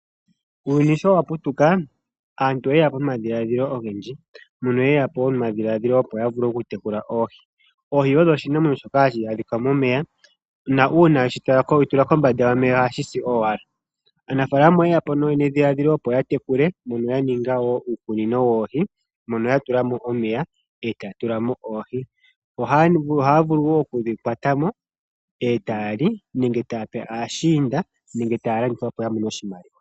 Uuyuni showaputuka aantu oyeyapo nomadhiladhilo ogendji, mono yeyapo nomadhiladhilo gokutekula oohi . Oohi odho iinamwenyo mbyoka hayi adhikwa momeya . Uuna wedhi tula kombanda yomeya , ohadhi si owala. Aanafaalama oyeyapo nedhiladhilo opo yatekule , mono yaninge uukunino woohi mono yatulamo omeya, etaya tulamo oohi . Ohaya vulu wo okudhi kwatamo etaya li, nenge taya pe aashiinda nenge taya landitha opo yavule okumonamo oshimaliwa.